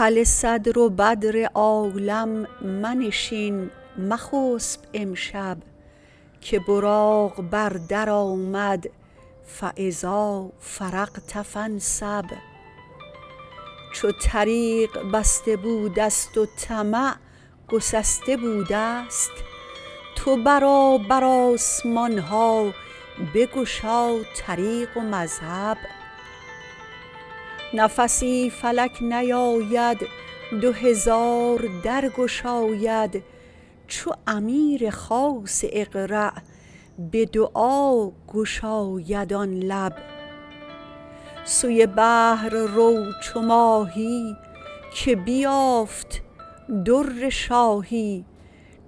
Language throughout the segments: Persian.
هله صدر و بدر عالم منشین مخسب امشب که براق بر در آمد فاذا فرغت فانصب چو طریق بسته بودست و طمع گسسته بودست تو برآ بر آسمان ها بگشا طریق و مذهب نفسی فلک نیاید دو هزار در گشاید چو امیر خاص اقرا به دعا گشاید آن لب سوی بحر رو چو ماهی که بیافت در شاهی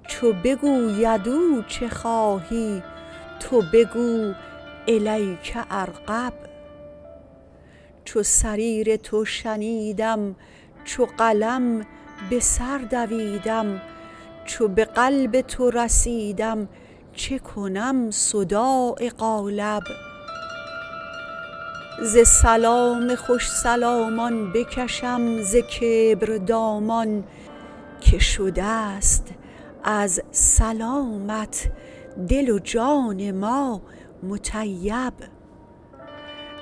چو بگوید او چه خواهی تو بگو الیک ارغب چو صریر تو شنیدم چو قلم به سر دویدم چو به قلب تو رسیدم چه کنم صداع قالب ز سلام خوش سلامان بکشم ز کبر دامان که شده ست از سلامت دل و جان ما مطیب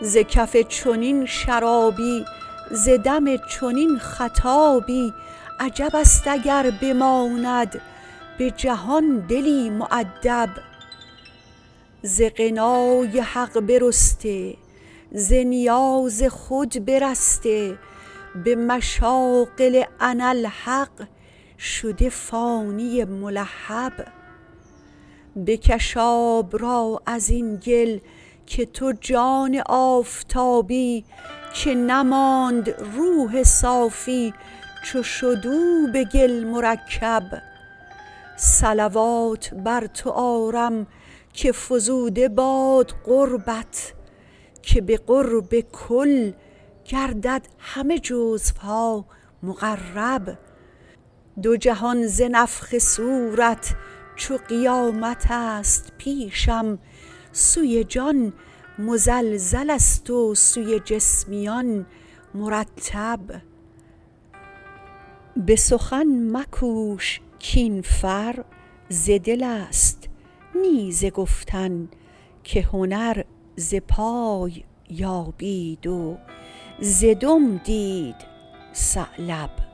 ز کف چنین شرابی ز دم چنین خطابی عجب ست اگر بماند به جهان دلی مودب ز غنای حق برسته ز نیاز خود برسته به مشاغل اناالحق شده فانی ملهب بکش آب را از این گل که تو جان آفتابی که نماند روح صافی چو شد او به گل مرکب صلوات بر تو آرم که فزوده باد قربت که به قرب کل گردد همه جزوها مقرب دو جهان ز نفخ صورت چو قیامتست پیشم سوی جان مزلزلست و سوی جسمیان مرتب به سخن مکوش کاین فر ز دلست نی ز گفتن که هنر ز پای یابید و ز دم دید ثعلب